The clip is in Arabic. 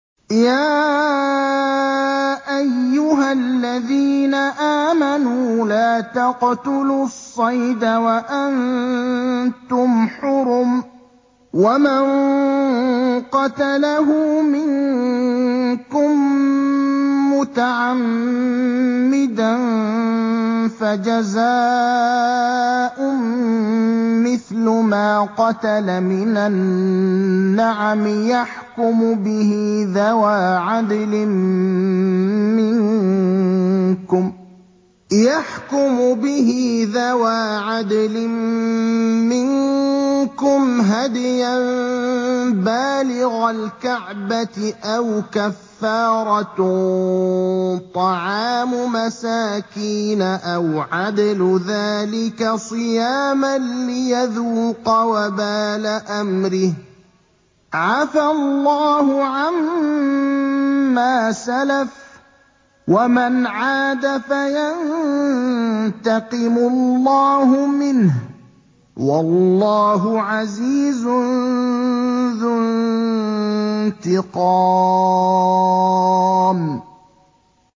يَا أَيُّهَا الَّذِينَ آمَنُوا لَا تَقْتُلُوا الصَّيْدَ وَأَنتُمْ حُرُمٌ ۚ وَمَن قَتَلَهُ مِنكُم مُّتَعَمِّدًا فَجَزَاءٌ مِّثْلُ مَا قَتَلَ مِنَ النَّعَمِ يَحْكُمُ بِهِ ذَوَا عَدْلٍ مِّنكُمْ هَدْيًا بَالِغَ الْكَعْبَةِ أَوْ كَفَّارَةٌ طَعَامُ مَسَاكِينَ أَوْ عَدْلُ ذَٰلِكَ صِيَامًا لِّيَذُوقَ وَبَالَ أَمْرِهِ ۗ عَفَا اللَّهُ عَمَّا سَلَفَ ۚ وَمَنْ عَادَ فَيَنتَقِمُ اللَّهُ مِنْهُ ۗ وَاللَّهُ عَزِيزٌ ذُو انتِقَامٍ